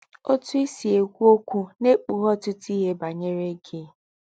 Otú i si ekwu okwu na-ekpughe ọtụtụ ihe banyere gị.